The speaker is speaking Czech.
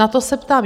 Na to se ptám.